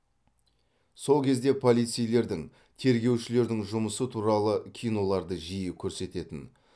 сол кезде полицейлердің тергеушілердің жұмысы туралы киноларды жиі көрсететін